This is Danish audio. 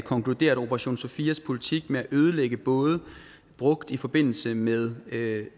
konkluderer at operation sophias politik med at ødelægge både brugt i forbindelse med